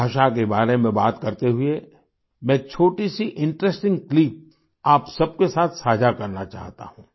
भाषा के बारे में बाते करते हुए मैं एक छोटी सी इंटरेस्टिंग क्लिप आप सबके साथ साझा करना चाहता हूँ